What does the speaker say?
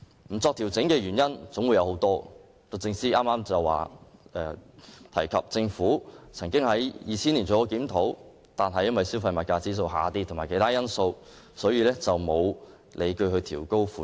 不作調整的原因有很多，律政司剛提及政府曾經在2000年作檢討，但因為消費物價指數下跌及其他因素，所以沒有理據調高款額。